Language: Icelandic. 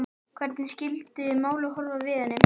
Hvernig skyldið málið horfa við henni?